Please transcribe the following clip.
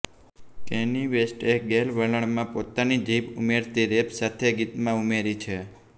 Kanye વેસ્ટએ ગૅલ વલણમાં પોતાની જીભ ઉમેરતી રેપ સાથે ગીતમાં ઉમેરી છે